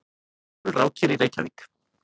Jökulrákir í Reykjavík.